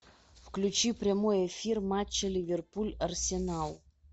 включи прямой эфир матча ливерпуль арсенал